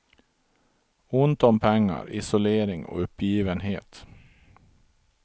Ont om pengar, isolering och uppgivenhet.